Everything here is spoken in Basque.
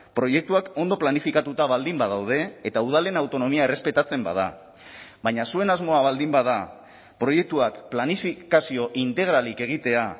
proiektuak ondo planifikatuta baldin badaude eta udalen autonomia errespetatzen bada baina zuen asmoa baldin bada proiektuak planifikazio integralik egitea